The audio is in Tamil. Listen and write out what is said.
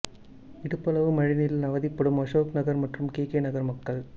இடுப்பளவு மழைநீரில் அவதிப்படும் அசோக் நகர் மற்றும் கே கே நகர் மக்கள்